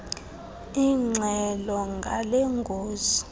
ingxelo ngale ngozi